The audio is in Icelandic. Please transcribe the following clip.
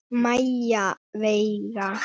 Maja Veiga.